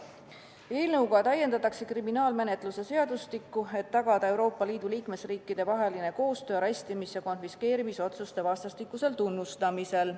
Selle eelnõuga täiendatakse kriminaalmenetluse seadustikku, et tagada Euroopa Liidu liikmesriikide vaheline koostöö arestimis- ja konfiskeerimisotsuste vastastikusel tunnustamisel.